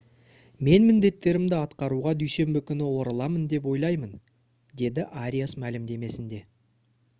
«мен міндеттерімді атқаруға дүйсенбі күні ораламын деп ойлаймын» - деді ариас мәлімдемесінде